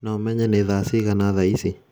no menye ni thaa cingana thaa ici